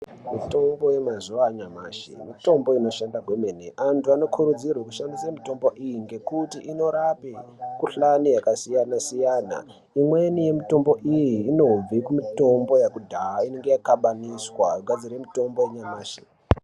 Mitombo yemazuwanyamashe, mitombo inoshanda kwemene. Antu vanokurudzirwe kushandise mitombo iyi ngekuti inorape mikhuhlane yakasiyana siyana. Imweni yemitombo iyi, inobve kumitombo yakudaya, inongeyaxabaniswa yogadzire mutombo wanyamashe.